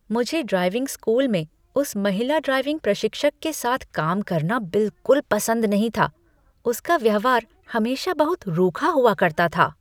मुझे driving school में उस महिला ड्राइविंग प्रशिक्षक के साथ काम करना बिलकुल पसंद नहीं था। उसका व्यवहार हमेशा बहुत रूखा हुआ करता था।